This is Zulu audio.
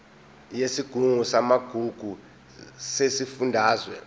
yesigungu samagugu sesifundazwe